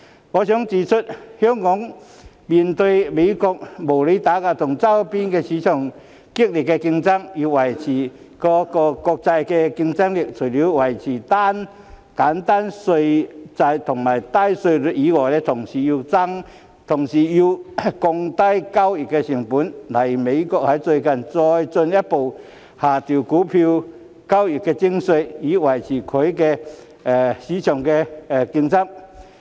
我想指出，香港面對美國的無理打壓和周邊市場激烈競爭，想要維持國際競爭力，除了維持簡單稅制度及低稅率外，還要降低交易成本，例如美國最近再進一步下調股票交易徵費，以維持其股票市場競爭力。